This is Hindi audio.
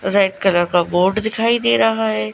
रेड कलर का बोट दिखाई दे रहा है।